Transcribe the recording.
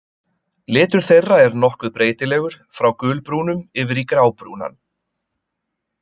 Litur þeirra er nokkuð breytilegur, frá gulbrúnum yfir í grábrúnan.